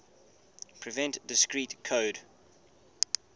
prevent discrete code